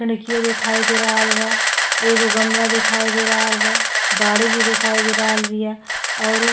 खिड़की दिखाई दे रहल बा। एक गो गलमा दिखाई दे रहल बा। गाड़ी भी दिखाई दे रहल बिया और उ --